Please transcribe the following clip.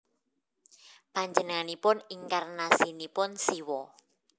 Panjenenganipun inkarnasinipun Siwa